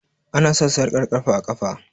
Ana sa sarƙar ƙafa a ƙafa